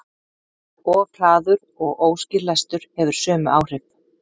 Of hraður og óskýr lestur hefur sömu áhrif.